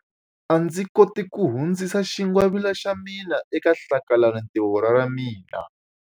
A ndzi koti ku hundzisa xingwavila xa mina eka hlakalarintiho ra ra mina.